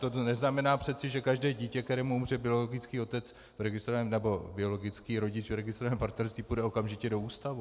To neznamená přece, že každé dítě, kterému umře biologický otec, nebo biologický rodič v registrovaném partnerství, půjde okamžitě do ústavu.